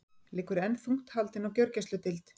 Liggur enn þungt haldin á gjörgæsludeild